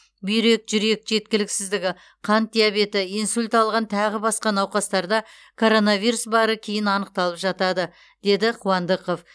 бүйрек жүрек жеткіліксіздігі қант диабеті инсульт алған тағы басқа науқастарда коронавирус бары кейін анықталып жатады деді қуандықов